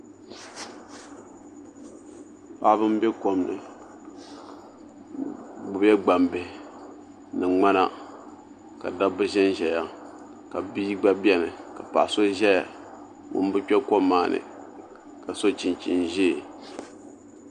Paɣaba n bɛ kom ni bi gbubila gbambihi ni ŋmana ka dabba ʒɛnʒɛya ka bihi gba biɛni ka paɣa so ʒɛya ŋun bi kpɛ kom maa ni ka so chinchin ʒiɛ